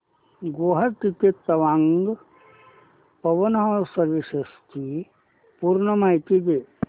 गुवाहाटी ते तवांग पवन हंस सर्विसेस ची पूर्ण माहिती